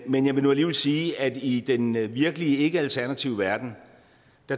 men jeg vil nu alligevel sige at i den virkelige ikke alternative verden